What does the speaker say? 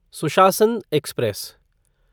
सुशासन एक्सप्रेस